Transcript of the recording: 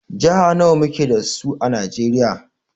Jiha nawa muke sa su a Najeriya?